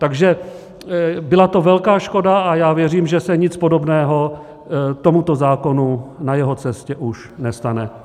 Takže byla to velká škoda a já věřím, že se nic podobného tomuto zákonu na jeho cestě už nestane.